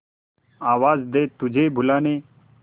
आवाज दे तुझे बुलाने